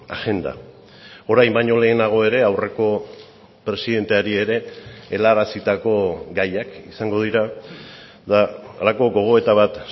agenda orain baino lehenago ere aurreko presidenteari ere helarazitako gaiak izango dira eta halako gogoeta bat